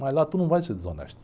Mas lá tu não vai ser desonesto.